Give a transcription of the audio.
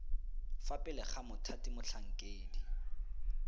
fa pele ga mothati motlhankedi